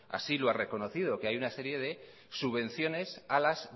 así lo ha reconocido que hay una serie de subvenciones a las